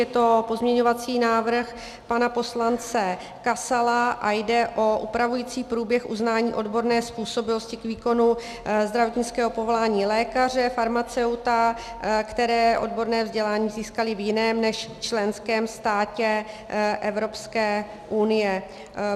Je to pozměňovací návrh pana poslance Kasala a jde o upravující průběh uznání odborné způsobilosti k výkonu zdravotnického povolání lékaře, farmaceuta, kteří odborné vzdělání získali v jiném než členském státě Evropské unie.